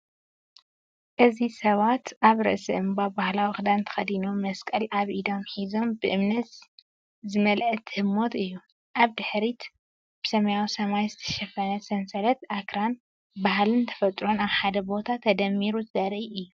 እዚ ሰባት ኣብ ርእሲ እምባ ባህላዊ ክዳን ተኸዲኖም፡ መስቀል ኣብ ኢዶም ሒዞም፡ ብእምነት ዝመልአት ህሞት እዩ። ኣብ ድሕሪት ብሰማያዊ ሰማይ ዝተሸፈነ ሰንሰለት ኣኽራን፡ ባህልን ተፈጥሮን ኣብ ሓደ ቦታ ተደሚሩ ዘርኢ እዩ።